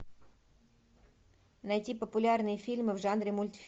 найти популярные фильмы в жанре мультфильм